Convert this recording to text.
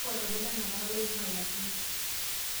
kakua lomon letenakata loinguaa Yahoo